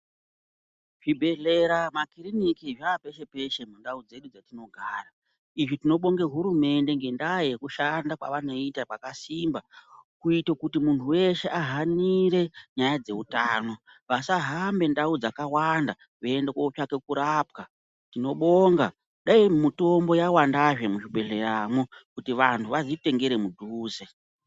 Zvibhedhlera makiliniki zvaa peshe-peshe mundau dzedu dzetinogara ,izvi tinobonga hurumende ngendaa yekushanda kwevanoita kwakasimba ,kuite kuti munthu weshe ahanire nyaya dzeutano ,vasahambe ndau dzakawanda veiende kootsvake kurapwa. Tinobonga, dai mitombo yawandazve muzvibhedhleya mwo ,kuti vanthu vazvitengere mudhuze.